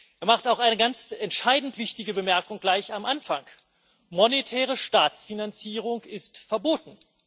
Er macht auch eine ganz entscheidend wichtige Bemerkung gleich am Anfang Monetäre Staatsfinanzierung ist verboten.